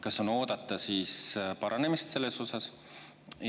Kas on oodata paranemist selles osas?